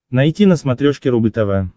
найти на смотрешке рубль тв